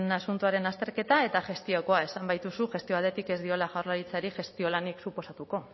asuntoaren azterketa eta gestiokoa esan baituzu gestio aldetik ez diola jaurlaritzari gestio lanik suposatuko